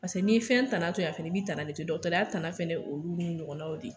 Pase n'i ye fɛn tana to yen a fɛnɛ b'i tana de to yen dɔgɔtɔrɔya tana fɛnɛ ye olu n'u ɲɔgɔnnaw de ye